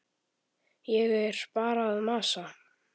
Ég er bara að masa.